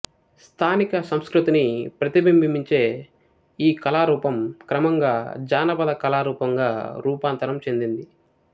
స్థానిక సంస్కృతిని ప్రతిబింబించే ఈ కళారూపం క్రమంగా జానపద కళారూపంగా రూపాంతరం చెందింది